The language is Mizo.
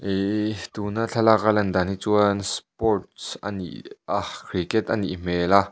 hiii tuna thlalaka lan dan hi chuan sports a ni a cricket anih hmel a.